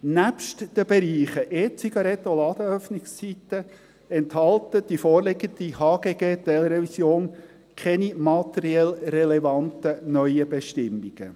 Nebst den Bereichen «E-Zigaretten» und «Ladenöffnungszeiten» enthält die vorliegende HGG-Teilrevision keine materiell relevanten neuen Bestimmungen.